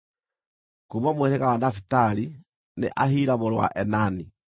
kuuma mũhĩrĩga wa Nafitali, nĩ Ahira mũrũ wa Enani.”